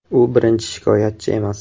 U birinchi shikoyatchi emas.